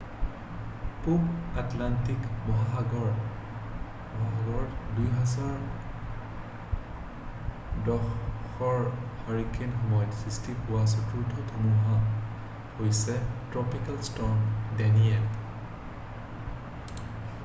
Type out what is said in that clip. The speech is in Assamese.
পূৱ আটলাণ্টিক মহাসাগৰত 2010ৰ হাৰিকেনৰ সময়ত সৃষ্টি হোৱা চতুৰ্থ ধুমুহা হৈছে ট্ৰপিকেল ষ্টৰ্ম ডেনিয়েল